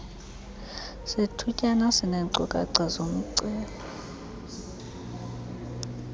sethutyana sineenkcukacha zomceli